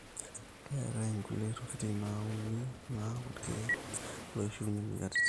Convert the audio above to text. keetae nkulie tokitin nauni naaku ilkiek loishiunye moyiaritin